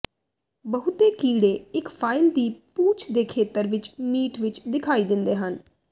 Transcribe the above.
ਬਹੁਤੇ ਕੀੜੇ ਇੱਕ ਫਾਈਲ ਦੀ ਪੂਛ ਦੇ ਖੇਤਰ ਵਿੱਚ ਮੀਟ ਵਿੱਚ ਦਿਖਾਈ ਦਿੰਦੇ ਹਨ